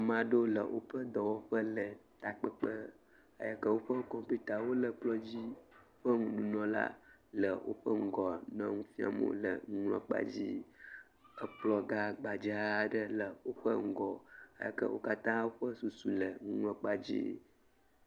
Maɖewo le woƒe dɔwɔƒe le takpekpe eyake woƒe kɔmpitawo le kplɔ dzi wo ŋunɔla le woƒe ŋgɔ nɔ nu fiam wo le ŋlɔkpea dzi. Ekplɔ gã gbadzea ɖe le woƒe ŋgɔ. Ekea wo katã woƒe susu le ŋlɔkpea dzi.